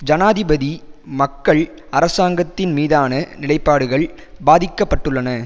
ஜனாதிபதி மக்கள் அரசாங்கத்தின் மீதான நிலைப்பாடுகள் பாதிக்க பட்டுள்ளன